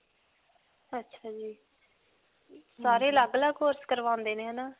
ਅੱਛਾ ਜੀ. ਸਾਰੇ ਅਲੱਗ-ਅਲੱਗ course ਕਰਵਾਉਂਦੇ ਨੇ ਹੈ ਨਾ?